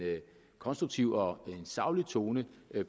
konstruktiv og en saglig tone